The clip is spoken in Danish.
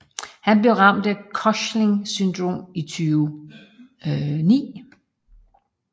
Han blev ramt af Cushings syndrom i 2009